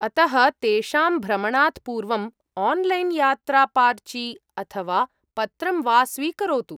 अतः, तेषां भ्रमणात् पूर्वम् आन्लैन्यात्रापार्ची अथवा पत्रं वा स्वीकरोतु।